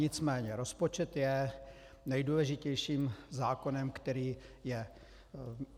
Nicméně rozpočet je nejdůležitějším zákonem, který je.